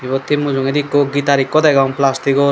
eyot he mujungedi ekko gitar ekko degong plastigor.